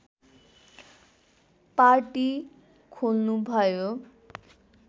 party खोल्नुभयो